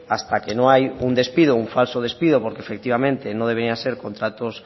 hasta que no hay un despido un falso despido porque efectivamente no deberían de ser contratos